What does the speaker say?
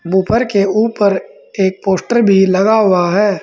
Buffer के ऊपर एक पोस्टर भी लगा हुआ है।